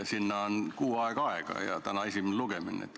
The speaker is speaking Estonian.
Sinna on kuu aega ja täna on esimene lugemine.